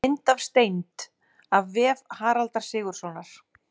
Mynd af steind: af vef Haraldar Sigurðssonar.